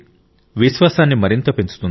విశ్వాసాన్ని మరింత పెంచుతుంది